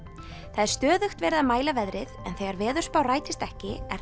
það er stöðugt verið að mæla veðrið en þegar veðurspá rætist ekki er